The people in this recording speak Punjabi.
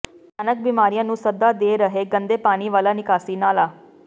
ਭਿਆਨਕ ਬਿਮਾਰੀਆਂ ਨੂੰ ਸੱਦਾ ਦੇ ਰਿਹੈ ਗੰਦੇ ਪਾਣੀ ਵਾਲਾ ਨਿਕਾਸੀ ਨਾਲਾ